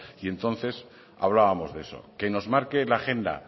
y entonces hablábamos de eso que nos marque la agenda